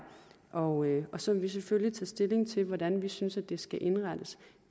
og og så vil vi selvfølgelig tage stilling til hvordan vi synes det skal indrettes